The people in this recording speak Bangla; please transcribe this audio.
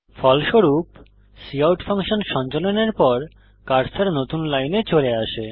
ফলস্বরূপ কাউট ফাংশন সঞ্চালনের পর কার্সার নতুন লাইন চলে আসে